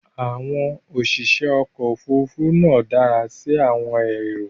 Àwọn òṣìṣẹ́ ọkọ̀ Òfurufú náà dára sí àwọn èrò